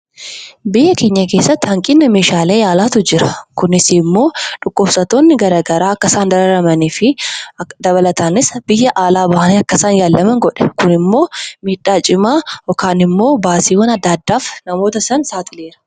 Biyya keenya keessatti hanqina meeshaalee yaalaatu jira. Kunis immoo dhukkubsattoonni gara garaa akka isaan dararamanii fi dabalataanis biyya laa bahanii akka isaan yaalaman godha. Kunimmoo miidhaa cimaa yookaan immoo baasiiwwan adda addaaf namoota sana saaxilee jira.